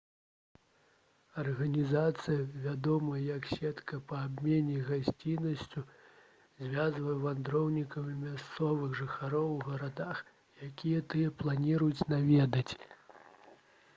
арганізацыя вядомая як «сетка па абмене гасціннасцю» звязвае вандроўнікаў і мясцовых жыхароў у гарадах якія тыя плануюць наведаць